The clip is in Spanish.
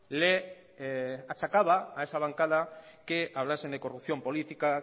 le achacaba a esa bancada que hablasen de corrupción política